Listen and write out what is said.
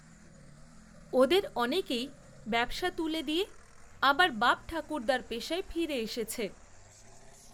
ওদের, অনেকেই ব্যবসা তুলে দিয়ে, আবার বাপঠাকুর্দ্দার পেশায় ফিরে এসেছে